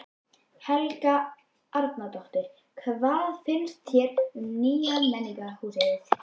Helga Arnardóttir: Hvað finnst þér um nýja menningarhúsið?